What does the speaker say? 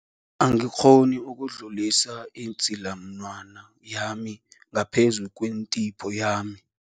Angikghoni ukudlulisa idzilamunwana yami ngaphezu kwentipho yami.